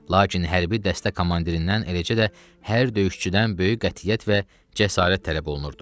Lakin hər bir dəstə komandirindən, eləcə də hər döyüşçüdən böyük qətiyyət və cəsarət tələb olunurdu.